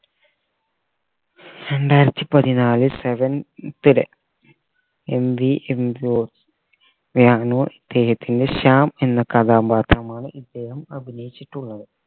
രണ്ടായിരത്തി പതിനാല് seventh day MB Shyam എന്ന കഥാപാത്രമാണ് ഇദ്ദേഹം അഭിനയിച്ചിട്ടുള്ളത്